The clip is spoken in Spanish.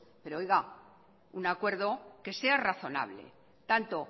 pero un acuerdo que sea razonable tanto